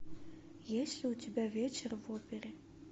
есть ли у тебя вечер в опере